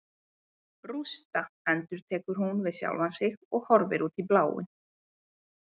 Rústa, endurtekur hún við sjálfa sig og horfir út í bláinn.